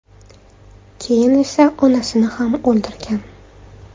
Keyin esa onasini ham o‘ldirgan.